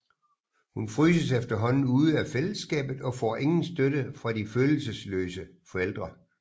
Hun fryses efterhånden ude af fællesskabet og får ingen støtte fra de følelsesløse forældre